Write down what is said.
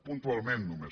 puntualment només